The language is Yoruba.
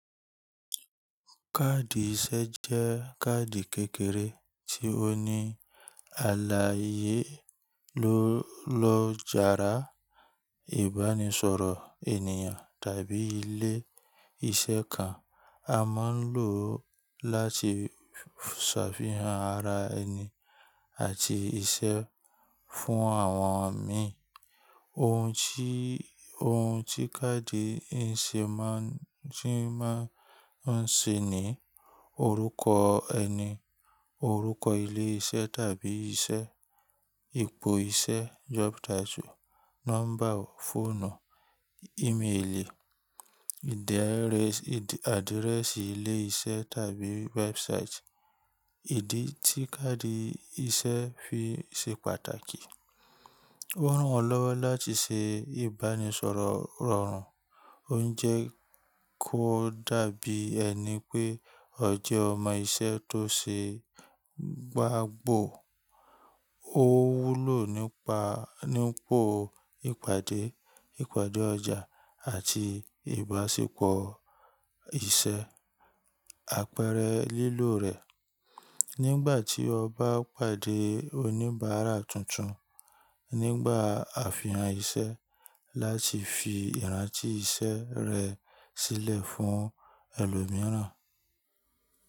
Kaadi iṣẹ́ jẹ́ kaadi kékeré tí ó ní àlàyé lọ́ jàara ìbánisọ̀rọ̀ ènìyàn tàbí ilé iṣẹ́ kan. A máa ń lò ó láti ṣàfihàn ara ẹni àti iṣẹ́ fún àwọn mi. Ohun tí kaadi ìṣe máa ń ṣe ni orúkọ ẹni, orúkọ ilé iṣẹ́ tàbí iṣẹ́, ipò iṣẹ́ job title, nọ́mbà fóònù, ìméèlì, adirẹsi ilé iṣẹ́ tàbí website. Ìdí tí kaadi iṣẹ́ fi ṣe pàtàkì, ó ràn ọ́ lọ́wọ́ láti ṣe ìbánisọ̀rọ̀ rọrùn, ó ń jẹ́ kó dàbí ẹni pé ọ jẹ́ ọmọ iṣẹ́ tó ṣe gbágbò. Ó wúlò nípa ìpàdé, ìpàdé ọjà àti ìbáṣepọ̀ iṣẹ́. Àpẹẹrẹ lílò rẹ̀, nígbà tí o bá pàdé oníbàárà tuntun, nígbà àfihàn iṣẹ́ láti fi ìrántí iṣẹ́ rẹ sílẹ̀ fún ẹlòmíràn.